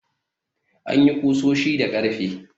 An yi ƙusoshi da ƙarfe.